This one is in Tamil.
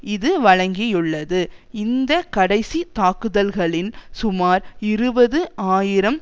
இது வழங்கியுள்ளது இந்த கடைசி தாக்குதல்களின் சுமார் இருபது ஆயிரம்